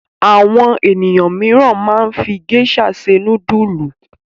Àwọn ènìyàn mìíràn máa fi géíṣà se núdúlù.